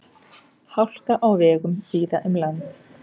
Hálka á vegum víða um land